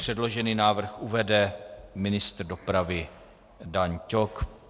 Předložený návrh uvede ministr dopravy Dan Ťok.